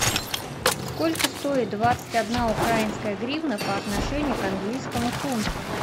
сколько стоит двадцать одна украинская гривна по отношению к английскому фунту